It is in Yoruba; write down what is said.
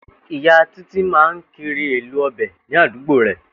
Ìyá Títí máa ń kiri èlò o̩bè̩ ní àdúgbò rè